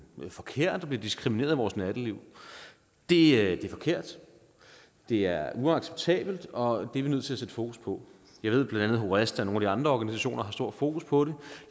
forkert og bliver diskrimineret i vores natteliv det er forkert det er uacceptabelt og det er vi nødt til at sætte fokus på jeg ved bla at horesta og nogle af de andre organisationer har stort fokus på det